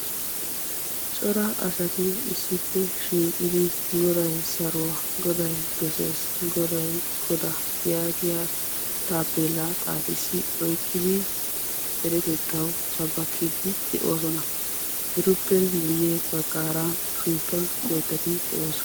Cora asati issippe gididi goday saruwa, goday dosees, goday godaa yaagiya taappeellaa xaafissi oykkidi deretettawu sabbakkiiddi de'oosona. Etuppe guyye baggaara sinttan oyddati de'oosona.